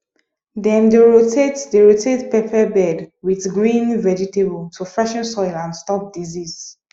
dem dey rotate dey rotate pepper bed with green vegetable to freshen soil and stop disease